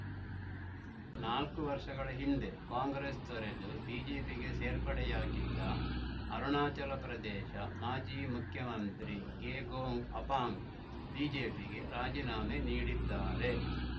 ನಾಲ್ಕು ವರ್ಷಗಳ ಹಿಂದೆ ಕಾಂಗ್ರೆಸ್‌ ತೊರೆದು ಬಿಜೆಪಿಗೆ ಸೇರ್ಪಡೆಯಾಗಿದ್ದ ಅರುಣಾಚಲ ಪ್ರದೇಶ ಮಾಜಿ ಮುಖ್ಯಮಂತ್ರಿ ಗೆಗೊಂಗ್‌ ಅಪಾಂಗ್‌ ಬಿಜೆಪಿಗೆ ರಾಜೀನಾಮೆ ನೀಡಿದ್ದಾರೆ